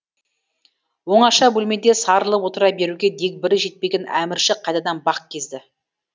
оңаша бөлмеде сарылып отыра беруге дегбірі жетпеген әмірші қайтадан бақ кезді